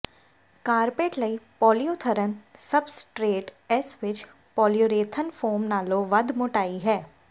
carpet ਲਈ polyurethane substrate ਇਸ ਵਿਚ ਪੌਲੀਰੂਰੇਥਨ ਫੋਮ ਨਾਲੋਂ ਵੱਧ ਮੋਟਾਈ ਹੈ